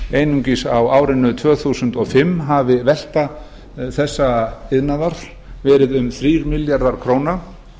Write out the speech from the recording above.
einungis á árinu tvö þúsund og fimm hafi velta þessa iðnaðar verið um þrír milljarðar króna